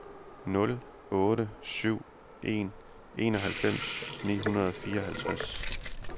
nul otte syv en enoghalvfems ni hundrede og fireoghalvtreds